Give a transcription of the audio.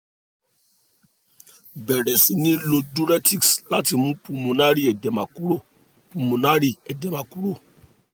bẹ̀rẹ̀ sí ní lo diuretics láti mú pulmonary edema kúrò pulmonary edema kúrò